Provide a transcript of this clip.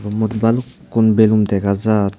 more balukun belun dega jer.